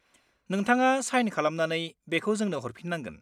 नोंथाङा साइन खालामनानै बेखौ जोंनो हरफिननांगोन।